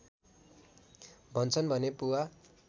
भन्छन् भने पुवा